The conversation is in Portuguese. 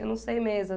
Eu não sei mesmo.